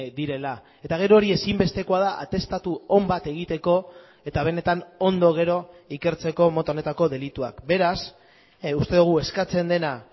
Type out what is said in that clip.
direla eta gero hori ezinbestekoa da atestatu on bat egiteko eta benetan ondo gero ikertzeko mota honetako delituak beraz uste dugu eskatzen dena